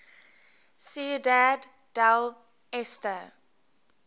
ciudad del este